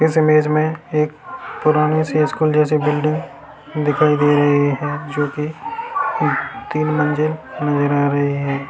इस इमेज में एक पुरानी सी स्कूल जैसी बिल्डिंग दिखाई दे रही है जो की तीन मंजिल नज़र आ रही हैं।